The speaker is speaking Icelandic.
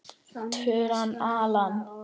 Turnar, Alan.